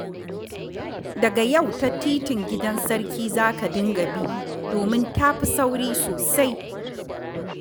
Daga yau ta Titin Gidan Sarki za ka dinga bi, domin ta fi sauri sosai